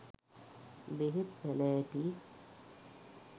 බෙහෙත් පැළෑටි